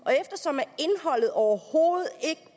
og overhovedet ikke